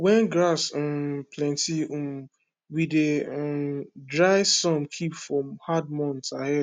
when grass um plenty um we dey um dry some keep for hard months ahead